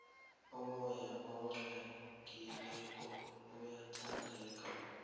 umoya oqwengileko uyathandeka